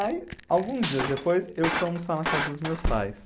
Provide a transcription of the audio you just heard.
Aí, alguns dias depois, eu fui almoçar na casa dos meus pais.